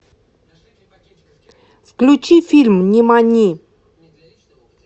включи фильм нимани